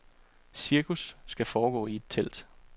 Cirkus skal foregå i et telt.